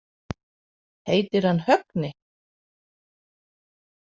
Heitir hann Högni?